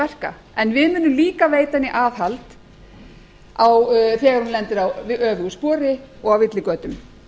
verka en við munum líka veita henni aðhald þegar hún lendir á öfugu spori og á villigötum